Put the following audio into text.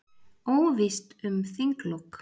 Óvíst um þinglok